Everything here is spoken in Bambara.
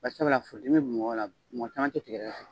Bari sabula furudimi bɛ mɔgɔw la, caman tɛ tigɛdɛgɛ fɛ.